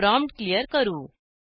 prompt clear करू